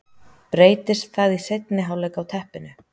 Breytist það í seinni hálfleik á teppinu?